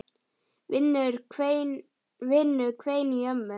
Vinnu hvein í ömmu.